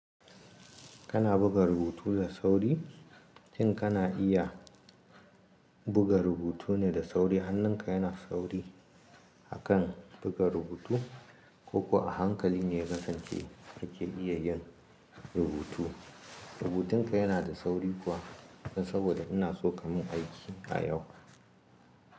Kana buga rubutu da sauri, shin kana iya buga rubutu ne da sauri, hannunka yana sauri a kan buga rubutu ko kuwa hankali ne ya kasance ake iya yin rubutu. Rubutunka yana da sauri kuwa dan saboda ina so ka mun aiki a yau.